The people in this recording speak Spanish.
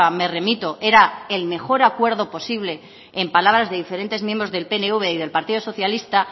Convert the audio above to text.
me remito era el mejor acuerdo posible en palabras de diferentes miembros del pnv y del partido socialista